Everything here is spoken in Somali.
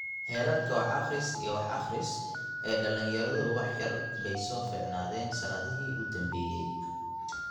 Heerarka wax-akhris iyo wax-akhris ee dhallinyaradu wax yar bay soo fiicnaadeen sannadihii u dambeeyay.